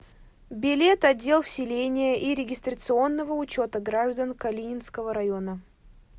билет отдел вселения и регистрационного учета граждан калининского района